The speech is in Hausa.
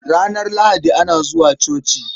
Ranar Lahadi ana zuwa coci.